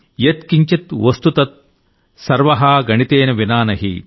యత్ కించిత్ వస్తు తత్ సర్వః గణితేన వినా నహి